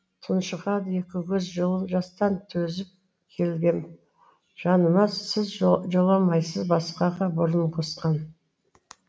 тұншығады екі көз жылы жастан төзіп келгем жаныма сіз жоламайсыз басқаға бұрын қосқан